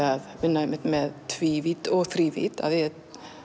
að vinna með tvívídd og þrívídd af því